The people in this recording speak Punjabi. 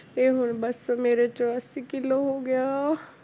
ਤੇ ਹੁਣ ਬਸ ਮੇਰੇ ਚੁਰਾਸੀ ਕਿੱਲੋ ਹੋ ਗਿਆ